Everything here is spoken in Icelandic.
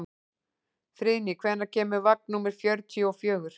Friðný, hvenær kemur vagn númer fjörutíu og fjögur?